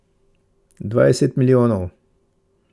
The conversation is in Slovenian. Dvajset milijonov.